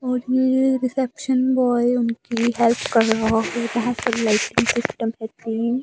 और ये reception boy उनकी हेल्प कर रहा है वहां पर लाइटिंग सिस्टम --